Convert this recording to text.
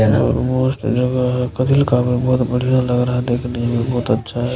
मस्त जगह है बहुत बढ़िया लग रहा हैं देखने में भी बहुत अच्छा है ।